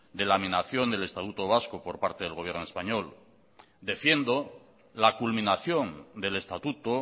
de la amenación del estatuto vasco por parte del gobierno español defiendo la culminación del estatuto